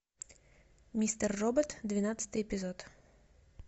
мистер робот двенадцатый эпизод